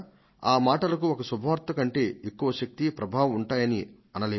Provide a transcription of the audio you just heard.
ఆ మాటలకు ఒక శుభ వార్త కంటే ఎక్కువ శక్తి ప్రభావం ఉంటాయని అనలేము